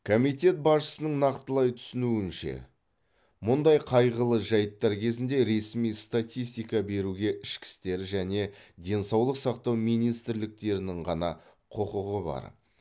комитет басшысының нақтылай түсуінше мұндай қайғылы жайттар кезінде ресми статистика беруге ішкі істер және денсаулық сақтау министрліктерінің ғана құқығы бар